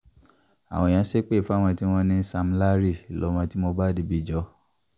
àwọn èèyàn ṣépè fáwọn tí wọ́n ní sam larry lọmọ tí mohbad bí jọ